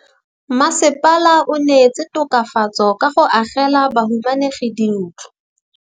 Mmasepala o neetse tokafatsô ka go agela bahumanegi dintlo.